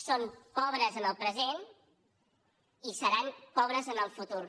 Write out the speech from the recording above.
són pobres en el present i seran pobres en el futur